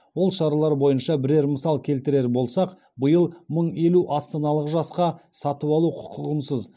ол шаралар бойынша бірер мысал келтірер болсақ биыл мың елу астаналық жасқа сатып алу құқығынсыз